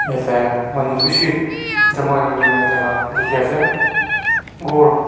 ase manu beshi jama hoikena takha dekhe ase ghor--